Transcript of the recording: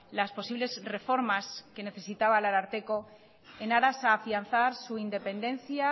las posibles reformas que necesitaba el ararteko en aras a afianzar su independencia